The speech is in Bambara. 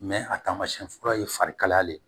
a taamasiyɛn fura ye fari kalaya de ye